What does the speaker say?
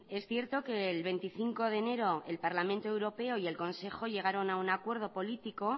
es cierto que el veinticinco de enero el parlamento europeo y el consejo llegaron a un acuerdo político